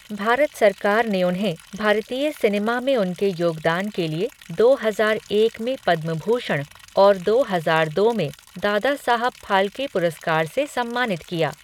भारत सरकार ने उन्हें भारतीय सिनेमा में उनके योगदान के लिए दो हजार एक में पद्म भूषण और दो हजार दो में दादा साहब फाल्के पुरस्कार से सम्मानित किया।